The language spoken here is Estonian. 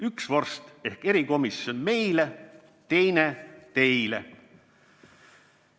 Üks vorst ehk erikomisjon meile, teine teile.